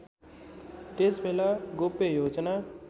त्यसबेला गोप्य योजना